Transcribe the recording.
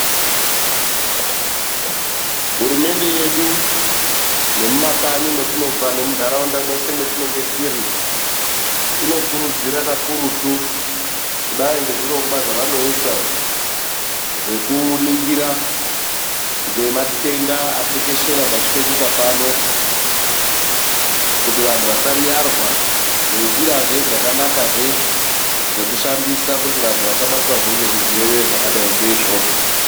Hurumende yedu nemumakanyi matobva nemundaraunda mweshe matinenge tiri inokurudzira kakurutu kudai nezvirongwa zvavanoisa zvekuningira nematenda atekeshera pasi penyika pano kuti vantu vasariyarwa ngenjira zve dzakanaka dzekushandisa zvekuti vandu vasabatwa zve nezvirwere zvakadai ngeivozvo.